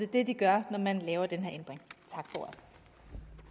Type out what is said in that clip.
det de gør når man laver den her ændring